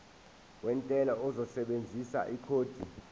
wentela uzosebenzisa ikhodi